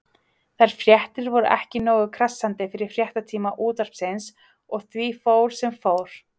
Þær fréttir voru ekki nógu krassandi fyrir fréttatíma Útvarpsins og því fór sem fór.